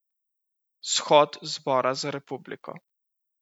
Shod zbora za republiko.